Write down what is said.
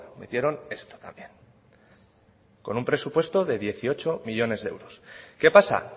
metieron esto también con un presupuesto de dieciocho millónes de euros qué pasa